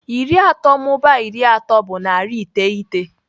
Iri atọ mụbaa iri atọ bụ narị iteghete.